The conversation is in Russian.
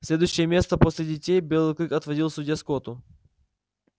следующее место после детей белый клык отводил судье скотту